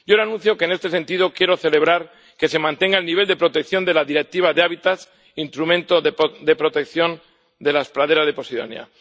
Yo le anuncio que, en este sentido, quiero celebrar que se mantenga el nivel de protección de la Directiva de hábitats, instrumento de protección de las praderas de posidonia.